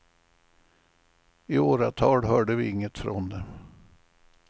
I åratal hörde vi inget ifrån dem.